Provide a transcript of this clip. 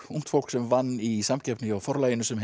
ungt fólk sem vann í samkeppni hjá Forlaginu sem